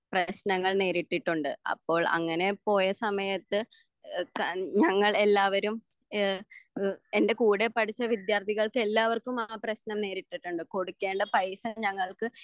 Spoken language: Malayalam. പ്രേശ്നങ്ങൾ നേരിട്ടിട്ടുണ്ട് അപ്പോൾ അങ്ങനെ പോയ സമയത്ത് എഹ് ചൻ ഞങ്ങൾ എല്ലാവരും ഏഹ് എഹ് എൻ്റെ കൂടെ പഠിച്ച വിദ്യാത്ഥികൾക്ക് എല്ലാവർക്കും ആ പ്രെശ്നം നേരിട്ടിട്ടുണ്ട് കൊടുക്കേണ്ട പൈസ ഞങ്ങൾക്ക്